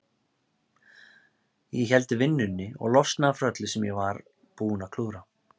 Ég héldi vinnunni og losnaði frá öllu sem ég var búinn að klúðra.